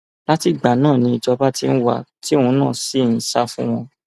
láti ìgbà náà ni ìjọba ti ń wá a tí òun náà sì ń sá fún wọn